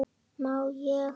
Má ég?